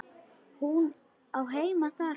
Hún á heima þar sko.